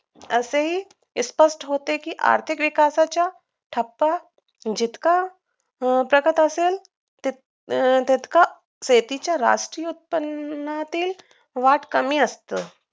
असाईही स्पष्ट होते कि आर्थिक विकासाच्या ठप्पा जितका घटत असेल तितका शेतीच्या राष्ट्रीय उत्पन्नातील वाढ कमी असते